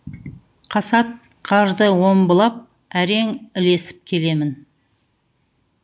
қасат қарды омбылап әрең ілесіп келемін